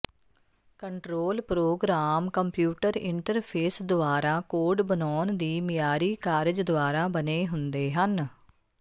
control programme computer interface ਦੁਆਰਾ code ਬਣਾਉਣ ਦੀ ਮਿਆਰੀ ਕਾਰਜ ਦੁਆਰਾ ਬਣੇ ਹੁੰਦੇ ਹਨ